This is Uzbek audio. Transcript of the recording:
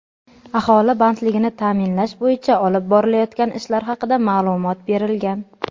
aholi bandligini ta’minlash bo‘yicha olib borilayotgan ishlar haqida ma’lumot berilgan.